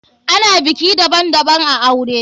Ana biki daban daban a aure.